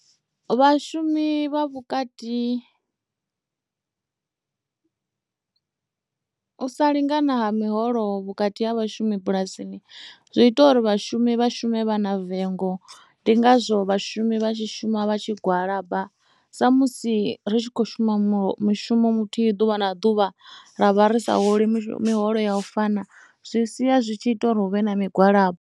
Vhashumi vha vhukati u sa lingana miholo vhukati ha vhashumi bulasini zwi ita uri vhashumi vha shume vha na vengo ndi ngazwo vhashumi vha tshi shuma vha tshi gwalaba sa musi ri tshi khou shuma mushumo muthihi ḓuvha na ḓuvha ravha ri sa fholi miholo yo no fana zwi sia zwi tshi ita uri huvhe na migwalabo.